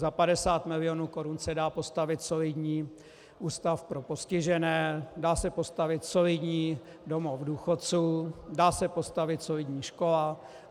Za 50 milionů korun se dá postavit solidní ústav pro postižené, dá se postavit solidní domov důchodců, dá se postavit solidní škola.